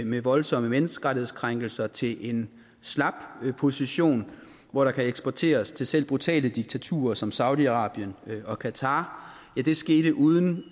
med voldsomme menneskerettighedskrænkelser til en slap position hvor der kan eksporteres til selv brutale diktaturer som saudi arabien og qatar skete uden